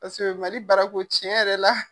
MALI baarako tiɲɛ yɛrɛ la.